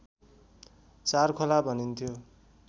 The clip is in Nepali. चारखोला भनिन्थ्यो